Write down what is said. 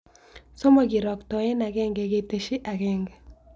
Somok kiroktoen ageng'e ketesij ageng'e